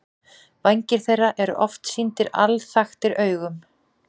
Vængir þeirra eru oft sýndir alþaktir augum.